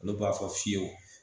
Ne b'a fɔ fiyewu